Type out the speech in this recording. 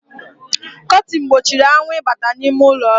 Kọtin gbochiri anwụ ịbata n’ime ụlọọrụ